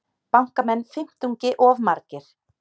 Bankamenn fimmtungi of margir